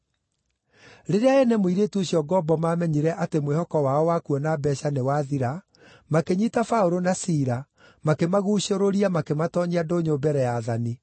Rĩrĩa ene mũirĩtu ũcio ngombo maamenyire atĩ mwĩhoko wao wa kuona mbeeca nĩwathira, makĩnyiita Paũlũ na Sila makĩmaguucũrũria makĩmatoonyia ndũnyũ mbere ya aathani.